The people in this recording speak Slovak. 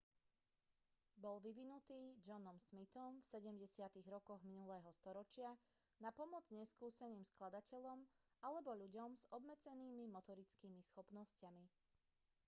bol vyvinutý johnom smithom v 70. rokoch minulého storočia na pomoc neskúseným skladateľom alebo ľuďom s obmedzenými motorickými schopnosťami